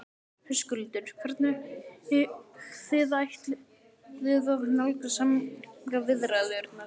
Höskuldur: Hvernig þið ætluðuð að nálgast samningaviðræðurnar?